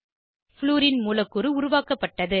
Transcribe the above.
fluorine மூலக்கூறு உருவாக்கப்பட்டது